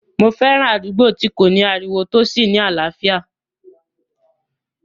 Mo fẹ́ràn àdúgbò tí kò ní ariwo tó sì ní àlàáfíà